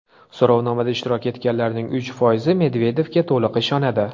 So‘rovda ishtirok etganlarning uch foizi Medvedevga to‘liq ishonadi.